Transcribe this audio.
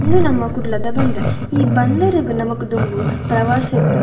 ಉಂದು ನಮ ಕುಡ್ಲದ ಬಂದರ್ ಈ ಬದರಗ್ ನಮಕ್ ದುಂಬು ಪ್ರವಾಸ ಇತ್ತ್ಂಡ್.